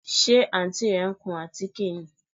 Ṣe Àǹtí rẹ ń kun àtíké ni?